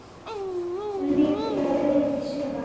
Er pressan mikil á liðinu í sumar?